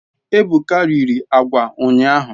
Ebuka riri agwa unyahu